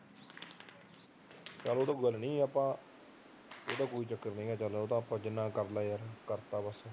ਚੱਲੋਂ ਉਹ ਤਾਂ ਕੋਈ ਗੱਲ ਨੀ ਆਪਾ ਉਹ ਤਾਂ ਕੋਈ ਚੱਕਰ ਨੀ ਚੱਲ ਆਪਾਂ ਜਿੰਨਾ ਕ ਕਰਲਿਆ ਕਰਤਾ ਵਾ